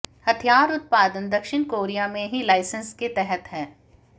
हथियार उत्पादन दक्षिण कोरिया में ही लाइसेंस के तहत है